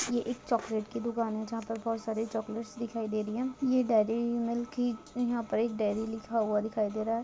यह एक चॉकलेट्स की दुकान है जहाँ पर बहुत सारी चॉकलेट्स दिखाई दे रही है यह डेरी मिल्क की यहाँ पर एक डेरी लिखा हुआ दिखाई दे रहा है।